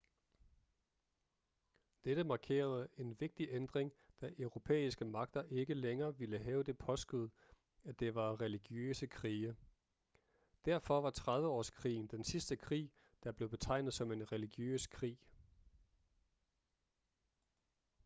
dette markerede en vigtig ændring da europæiske magter ikke længere ville have det påskud at det var religiøse krige derfor var trediveårskrigen den sidste krig der blev betegnet som en religiøs krig